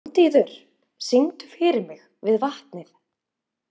Randíður, syngdu fyrir mig „Við vatnið“.